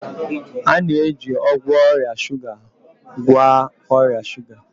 A na-eji ọgwụ ọrịa shuga agwọ ọrịa shuga